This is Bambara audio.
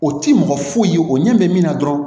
O ti mɔgɔ foyi o ɲɛ bɛ min na dɔrɔn